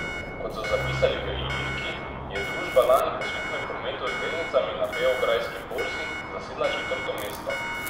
Kot so zapisali v Iliriki, je družba lani po skupnem prometu z delnicami na Beograjski borzi zasedla četrto mesto.